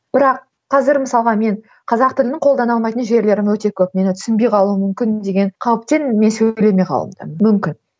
бірақ қазір мысалға мен қазақ тілін қолдана алмайтын жерлерім өте көп мені түсінбей қалуы мүмкін деген қауіптен мен сөйлемей қалуым мүмкін